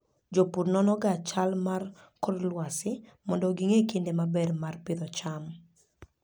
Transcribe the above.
Jopur nonoga chal mar kor lwasi mondo ging'e kinde maber mar pidho cham.